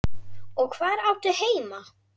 Og hvar áttu heima?